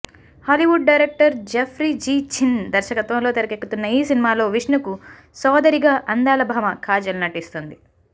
Hollywood director Jeffrey Gee Chin దర్శకత్వంలో తెరకెక్కుతున్న ఈ సినిమాలో విష్ణుకు సోదరిగా అందాల భామ కాజల్ నటిస్తోంది